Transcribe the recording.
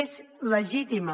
és legítima